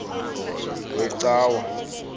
wecawa